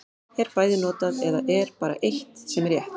Er bæði notað, eða er bara eitt sem er rétt.